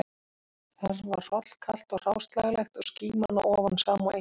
Þar var hrollkalt og hráslagalegt og skíman að ofan sama og engin